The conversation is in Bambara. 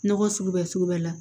Nɔgɔ sugu bɛ sugu bɛ la